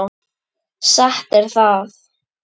Satt er það.